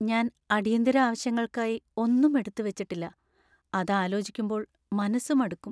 ഞാൻ അടിയന്തിര ആവശ്യങ്ങൾക്കായി ഒന്നും എടുത്ത് വെച്ചിട്ടില്ല. അത് ആലോചിക്കുമ്പോൾ മനസ്സ് മടുക്കും.